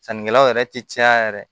Sannikɛlaw yɛrɛ tɛ caya yɛrɛ